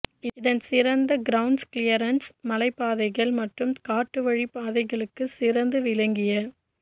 இதன் சிறந்த ground clearance மலை பாதைகள் மற்றும் காட்டு வழி பாதைகளுக்கு சிறந்து விளங்கிய